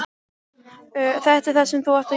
Þetta er það sem þú átt að gera.